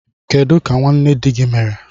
Kedu ka nwanne di gị mere?